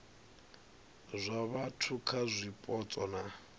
zwa vhathu kha zwipotso na